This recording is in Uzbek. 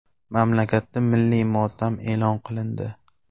Mamlakatda milliy motam e’lon qilindi .